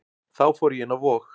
Þá fór ég inn á Vog.